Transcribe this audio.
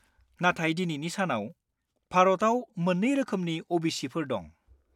नाथाय दिनैनि सानाव, भारतआव मोन्नै रोखोमनि अ.बि.सि.फोर दं।